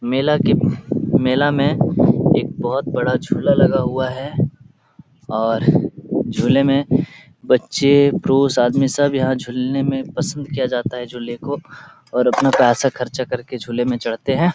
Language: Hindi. मेला के मेला में एक बहोत बड़ा झूला लगा हुआ है और झूले में बच्चे पुरुष आदमी सब यहाँ झूलने में पसंद किया जाता है झूले को और अपना पैसा खर्च करके झूले में चढ़ते हैं ।